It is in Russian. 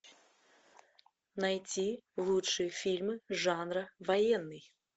найти лучшие фильмы жанра военный